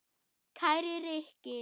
Kæri Rikki.